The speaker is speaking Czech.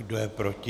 Kdo je proti?